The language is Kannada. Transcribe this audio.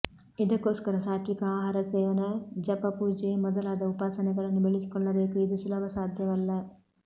ಇದಕ್ಕೋಸ್ಕರ ಸಾತ್ವಿಕ ಆಹಾರ ಸೇವನೆ ಜಪ ಪೂಜೆ ಮೊದಲಾದ ಉಪಾಸನೆಗಳನ್ನು ಬೆಳೆಸಿಕೊಳ್ಳಬೇಕು ಇದು ಸುಲಭ ಸಾಧ್ಯವಲ್ಲ